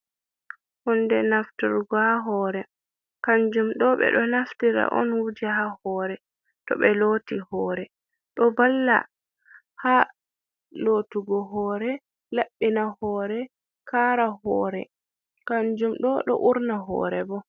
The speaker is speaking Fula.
Hunde nafturgo ha hoore, kanjum ɗo ɓe ɗo naftira on wuja ha hoore to ɓe looti hoore, ɗo valla ha lootugo hoore laɓɓina hoore kaara hoore, kanjum ɗo ɗo urna hoore bo.